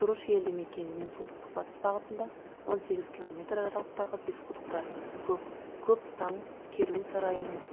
тұрыш елді мекенінен солтүстік батыс бағытында он сегіз километр аралықтағы бесқұдықта көптам керуен сарайының